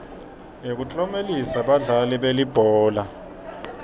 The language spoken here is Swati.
yekuklomelisa badlali belibhola